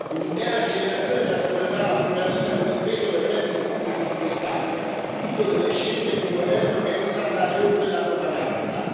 Un'intera generazione trascorrerà la propria vita con il peso del debito pubblico sulle spalle, tutto per le scelte di un governo che non sa andare oltre la propaganda.